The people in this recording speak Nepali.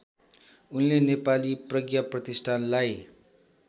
उनले नेपाली प्रज्ञाप्रतिष्ठानलाई